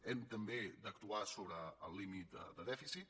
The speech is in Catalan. hem d’actuar també sobre el límit de dèficit